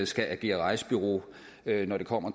skal agere rejsebureau når det kommer